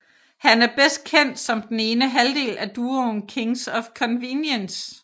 Han er bedst kendt som den ene halvdel af duoen Kings of Convenience